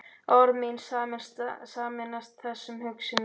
Og orð mín sameinast þessum hugsunum.